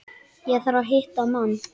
Ég þarf að hitta mann.